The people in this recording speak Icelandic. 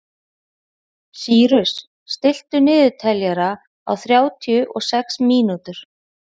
Sýrus, stilltu niðurteljara á þrjátíu og sex mínútur.